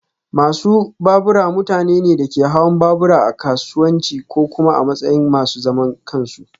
Masu babura mutane ne da ke hawan babura a kasuwanci ko kuma a matsayin masu zaman kansu